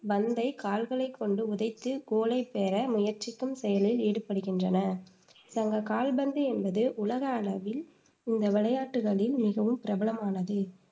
பந்தை கால்களைக் கொண்டு உதைத்து கோலைப் பெற முயற்சிக்கும் செயலில் ஈடுபடுகின்றன கால்பந்து என்பது உலக அளவில் இந்த விளையாட்டுக்களில் மிகவும் பிரபலமானது,